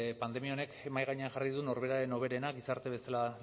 pandemia honek mahai gainean jarri du norberaren hoberena gizarte bezala